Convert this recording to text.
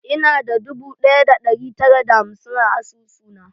Ina da dubu ɗaya da ɗari tara da hamsin a asusuna.